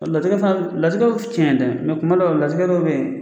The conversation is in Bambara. Latigɛ fana latigɛ ye tiɲɛ ye dɛ kuma dɔw la latigɛ dɔw bɛ yen.